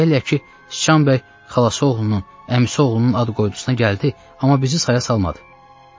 Deyəllər ki, Sıcan bəy xalası oğlunun, əmisi oğlunun ad qoydusuna gəldi, amma bizi saya salmadı.